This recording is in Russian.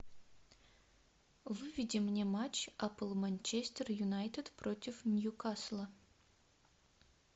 выведи мне матч апл манчестер юнайтед против ньюкасла